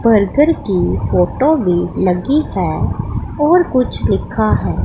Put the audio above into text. Burger की photo भी लगी है और कुछ लिखा है।